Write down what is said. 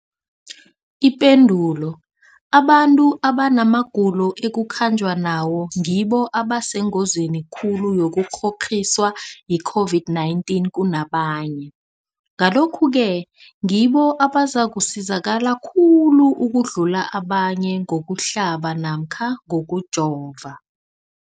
Ipendulo, abantu abanamagulo ekukhanjwa nawo ngibo abasengozini khulu yokukghokghiswa yi-COVID-19 kunabanye, Ngalokhu-ke ngibo abazakusizakala khulu ukudlula abanye ngokuhlaba namkha ngokujova.